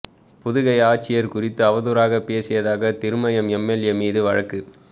புதுகை ஆட்சியா் குறித்து அவதூறாகப் பேசியதாக திருமயம் எம்எல்ஏ மீது வழக்கு